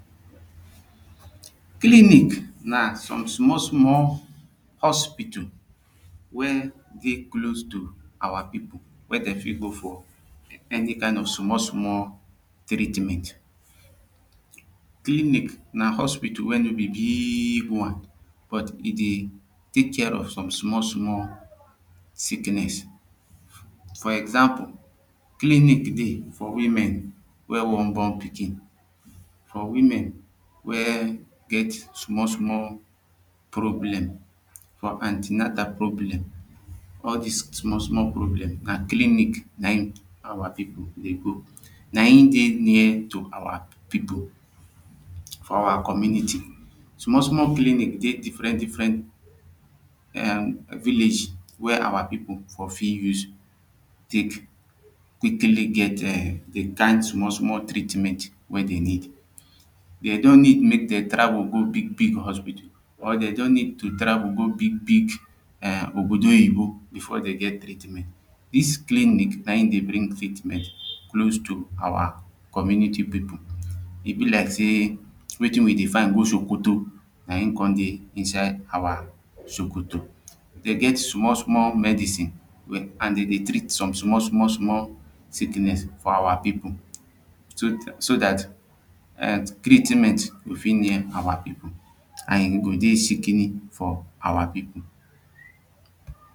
clinic na some small small hospital wey dey close to our people wey dey fit go for any kind of small small treatment clinic na hospital wey no be biig one but e dey take care of some small small sicknes for example clinic dey for women wey wan born pikin for women wey get small small problem for antinatal problem, all this small small problems na clinic na in our people dey go na him dey near to our people. for our community, small small clinic dey diffrent diffrent um villages our people for fit use take really get the kind small small treatment wey them need they dont need make dem travel go big hosital or they dont need to travel go big big obodo oyibo before them get treatment this clinic na him dey bring treatment close to our community people. e be like sey wetin we dey find go sokoto na him come dey inside our sokoto. they get small small medicine an dem dey treat some small small small sickness for our people so that treatment fit near our people an e go dey sikini for our people